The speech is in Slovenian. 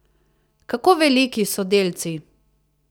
Kako veliki so delci?